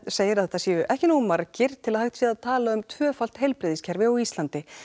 segir að þetta séu ekki nógu margir til að hægt sé að tala um tvöfalt heilbrigðiskerfi á Íslandi